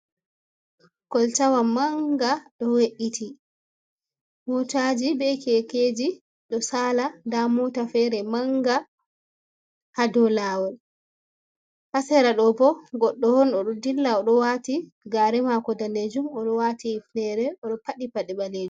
Koltawa mannga ɗo we’iti. Mootaaji bee keekeji ɗo saala, ndaa moota feere manga ha dow laawol. Ha sera ɗo bo goɗɗo on oɗo dilla, oɗo waati gaare maako daneejum oɗo waati hufneere oɗo faɗɗi pade ɓaleejum.